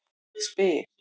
Ég spyr